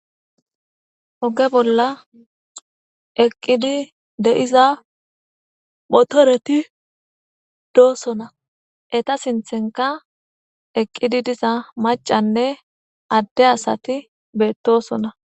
oge bolla eqqidi de'iza motoreti dosona, eta sinthenka eqqidi diza macanne adde asati beettosona.